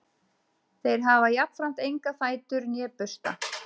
Þeir hafa jafnframt enga fætur né bursta.